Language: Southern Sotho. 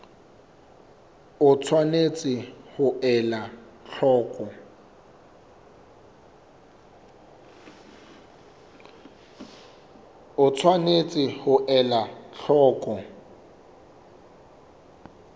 o tshwanetse ho ela hloko